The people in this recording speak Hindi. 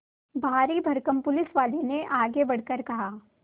भारीभरकम पुलिसवाले ने आगे बढ़कर कहा